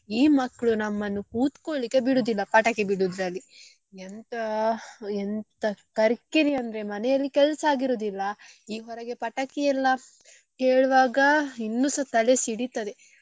ಈ ಮಕ್ಳು ನಮ್ಮನ್ನು ಕೂತ್ಕೋಳಿಕ್ಕೆ ಬಿಡುದಿಲ್ಲ ಪಟಾಕಿ ಬಿಡುದ್ರಲ್ಲಿ ಎಂತಾ ಎಂತ ಕರ್ಕಿರಿ ಅಂದ್ರೆ ಮನೆಯಲ್ಲಿ ಕೆಲ್ಸ ಆಗಿ ಇರುದಿಲ್ಲ ಈ ಹೊರಗಡೆ ಪಟಕೀಯೆಲ್ಲಾ ಕೇಳುವಾಗ ಇನ್ನೂಸ ತಲೆ ಸಿಡಿತದೆ.